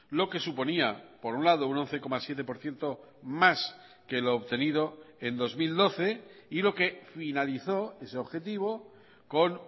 lo que suponía por un lado un once coma siete por ciento más que lo obtenido en dos mil doce y lo que finalizó ese objetivo con